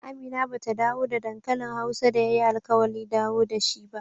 Amina ba ta dawo da dankalin hausa da ya yi alkawali dawowa da shi ba